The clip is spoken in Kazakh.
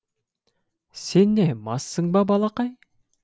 сен не массың ба балақай